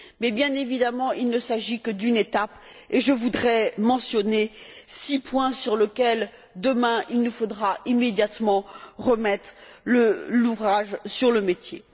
Mais, bien évidemment, il ne s'agit que d'une étape, et je voudrais mentionner six points sur lesquels, demain, il nous faudra immédiatement remettre l'ouvrage sur le métier.